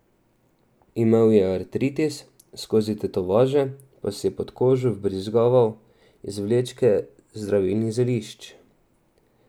Imel je artritis, skozi tetovaže pa si je pod kožo vbrizgaval izvlečke zdravilnih zelišč.